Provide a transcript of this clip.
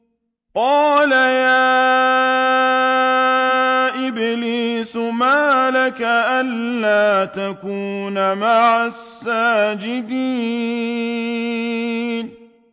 قَالَ يَا إِبْلِيسُ مَا لَكَ أَلَّا تَكُونَ مَعَ السَّاجِدِينَ